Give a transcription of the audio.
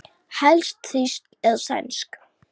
Helst þýsk eða sænsk.